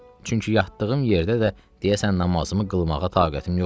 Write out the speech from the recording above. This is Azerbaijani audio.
Çünki yatdığım yerdə də deyəsən namazımı qılmağa taqətim yoxdur.